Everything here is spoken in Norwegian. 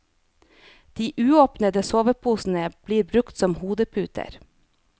De uåpnede soveposene blir brukt som hodeputer.